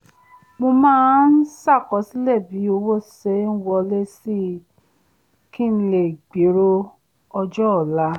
mo máa ń ṣàkọsílẹ̀ bí owó ṣe ń wọlé si kí n lè gbèrò ọjọ́ọ̀la